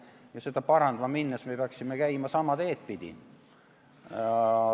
Ja seda parandama minnes me peaksime käima sama teed pidi.